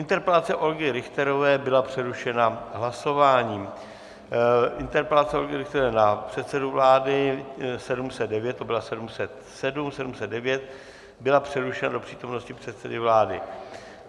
Interpelace Olgy Richterové byla přerušena hlasováním, interpelace Olgy Richterové na předsedu vlády 709, to byla 707, 709 byla přerušena do přítomnosti předsedy vlády.